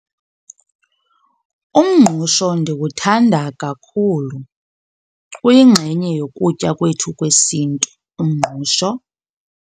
Umngqusho ndiwuthanda kakhulu. Uyingxenye yokutya kwethu kwesiNtu umngqusho.